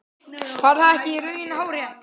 Var það ekki í raun hárrétt?